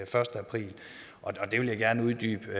første april og det vil jeg gerne uddybe